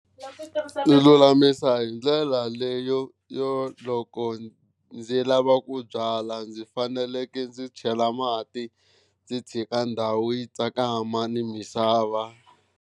Ni lulamisa hi ndlela leyo yo loko ndzi lava ku byala ndzi faneleke ndzi chela mati ndzi tshika ndhawu yi tsakama ni misava.